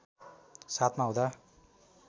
७ मा हुँदा